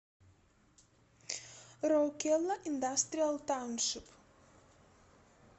роукела индастриал тауншип